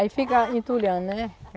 Aí fica entulhando, né?